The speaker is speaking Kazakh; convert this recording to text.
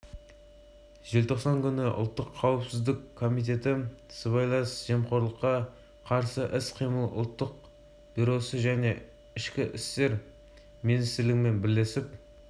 ең бастысы веб-деректі жоба қазақстан тарихына қызығушылық танытқан оқырманға таптырмас дерек көзі бола алады осы мақсатпен қазақ орыс ағылшын тілдерінде дайындалған